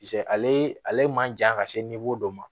ale ale man jan ka se dɔ ma